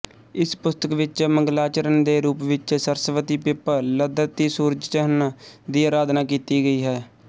ਇਸ ਪੁਸਤਕ ਵਿੱਚ ਮੰਗਲਾਚਰਨ ਦੇ ਰੂਪ ਵਿੱਚ ਸਰਸਵਤੀਪਿੱਪਲਧਰਤੀਸੂਰਜਚੰਨ ਦੀ ਅਰਾਧਨਾ ਕੀਤੀ ਗਈ ਹੈ